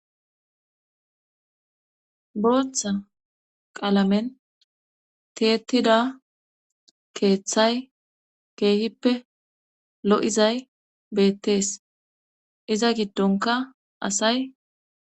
Booththa qaalamen tietida keeththay keehippe lo'izay beettees iza giddonka asay.